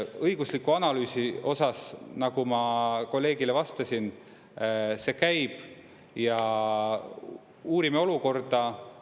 Õigusliku analüüsi osas, nagu ma kolleegile vastasin, see käib ja uurime olukorda.